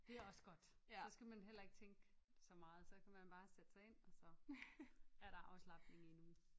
Dét også godt så skal man heller ikke tænke så meget så kan man bare sætte sig ind og så er der afslapning i en uge